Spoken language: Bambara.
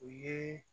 U ye